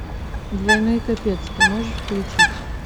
двойной капец ты можешь включить